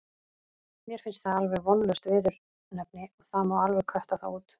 Mér finnst það alveg vonlaust viðurnefni og það má alveg kötta það út.